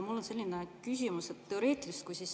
Mul on selline teoreetiline küsimus.